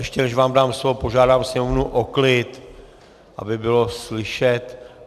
Ještě než vám dám slovo, požádám Sněmovnu o klid, aby bylo slyšet.